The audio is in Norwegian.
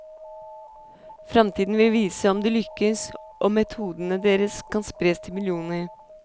Framtida vil vise om de lykkes, om metodene deres kan spres til millioner.